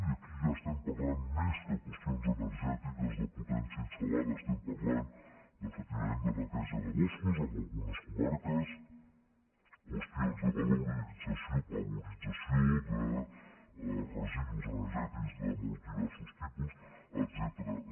i aquí ja estem parlant més que qüestions energètiques de potència instal·estem parlant efectivament de neteja de boscos en algunes comarques qüestions de valorització de residus energètics de molt diversos tipus etcètera